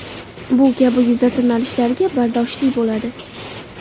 Bu kabi yuza tirnalishlarga bardoshli bo‘ladi.